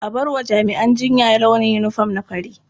A bar wa jami'an jinya launin yinifom na fari.